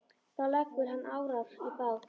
Þá leggur hann árar í bát.